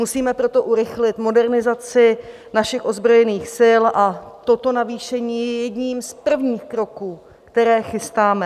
Musíme proto urychlit modernizaci našich ozbrojených sil a toto navýšení je jedním z prvních kroků, které chystáme.